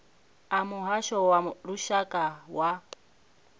a muhasho wa lushaka wa